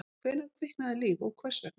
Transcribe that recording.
Hvenær kviknaði líf og hvers vegna?